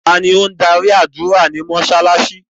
Tani o n darí ádùra ni mósálásí?